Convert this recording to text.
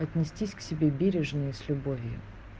отнестись к себе бережно и с любовью